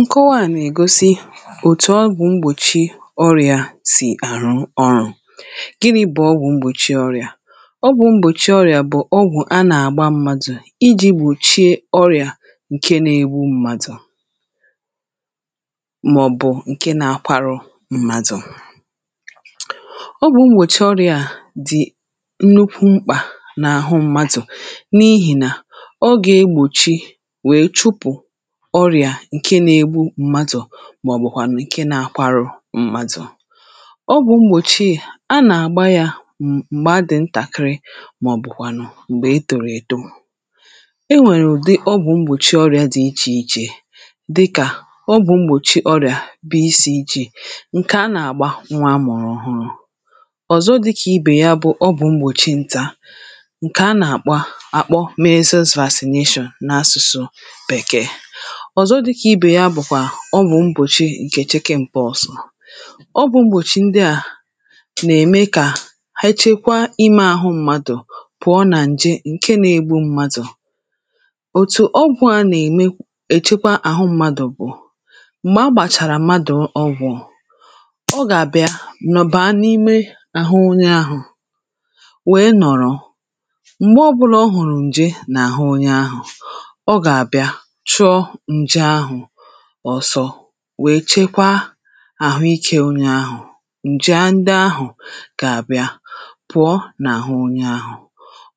nkọwa a nà-ègosi òtù ọgwụ̀ mgbòchi ọrịā si àrụ ọrụ̄ ginī bụ̀ ọgwụ̀ mgbòchi ọrịà ọgwụ̄ mgbòchi ọrịà bụ̀ ọgwụ̀ a nà-àgba mmadụ̀ ijī gbòchie ọrịà ǹke na-egbu mmadụ̀ màọbụ ǹke na-akwarụ mmadụ̀ ọgwụ̀ mbòchi ọrịà a dì nnukwuu mkpà n’àhụ mmadụ̀ n’ihì nà ọ gà-egbòchi wee chụpụ̀ ọrịà ǹkè na-egbu mmadụ̀ màọbụkwànụ̀ ǹkè na-akwarụ mmadụ̀ ọgwụ̀ mbòchi à a nà-àgba yā m̀ m̀gbè a dì ntàkiri màọbụ̀kwànụ̀ m̀gbè etòrò èto e nwèrè ụ̀dị ọgwụ̀ mgbòchi ọrịa di ichè ichè dịkà ọgwụ̄ mgbòci ọrịà BCG ǹkè a nà-àgba nnwa anụ̀rụ̀ ọhụrụ̄ ọ̀zọ dịkà ibè ya bụ ọgwụ̀ mgbòchi ntā ǹkè a nà-àkpọ àkpo measles vaccination n’asụ̀sụ̀ bèkee ọ̀zọ di kà ibè ya bụ̀kwà ọgwụ̀ mgbòchi ǹkè chicken pores ọgwụ̀ mgbòchi ndị à nà-ème kà ha chekwa imē àhụ mmadụ̀ pụ̀ọ nà ǹje ǹke na-egbu mmadụ̀ òtù ọgwụ̄ a nà-ème èchekwa àhụ mmadụ̀ bụ̀ m̀gbè a gbàchàrà mmadụ̀ ọgwụ̄ ọ gà-àbịa nọ̀ baa n’imē àhụ onye ahụ̀ wee nọ̀rọ m̀gbè ọbụlà ọ hụ̀rụ̀ ǹje n’àhụ onye ahụ̀ ọ gà-àbịa chụọ ǹje ahụ̀ ọsọ wee chekwa àhụ ike onye ahụ̀ ǹje ndị ahụ̀ kà àbịa pụ̀ọ n’àhụ onye ahụ̀